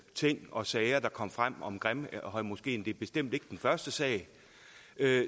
ting og sager der kom frem om grimhøjmoskeen det er bestemt ikke den første sag er at